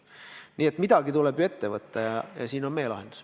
Nii et midagi tuleb ette võtta ja siin on meie lahendus.